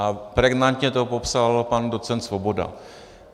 A pregnantně to popsal pan docent Svoboda.